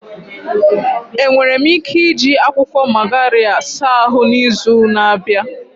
Enwere m ike iji akwụkwọ Magarya saa ahụ n'izu na-abịa?